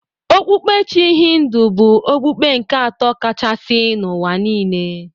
Okpukpe Chi Hindu bụ okpukpe nke atọ kachasị n'ụwa niile.